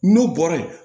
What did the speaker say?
N'u bɔra yen